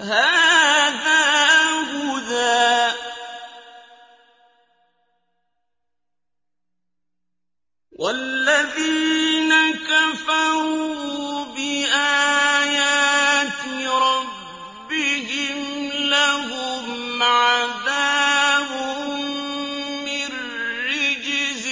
هَٰذَا هُدًى ۖ وَالَّذِينَ كَفَرُوا بِآيَاتِ رَبِّهِمْ لَهُمْ عَذَابٌ مِّن رِّجْزٍ